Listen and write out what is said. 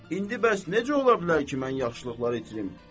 İndi bəs necə ola bilər ki, mən yaxşılıqları itirim?